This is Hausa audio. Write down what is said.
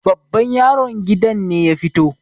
babban yaron gidan ne ya fito